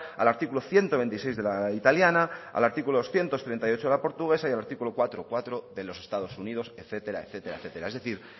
al artículo ciento veintiséis de la italiana al artículo ciento treinta y ocho portuguesa y al artículo cuatro punto cuatro de los estados unidos etcétera etcétera etcétera es decir